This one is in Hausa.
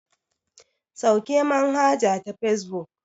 Sauke manhaja ta fesbuk.